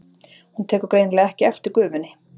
Hún tekur greinilega ekki eftir gufunni.